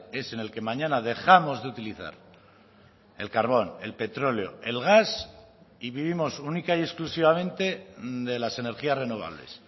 es en el que mañana dejamos de utilizar el carbón el petróleo el gas y vivimos única y exclusivamente de las energías renovables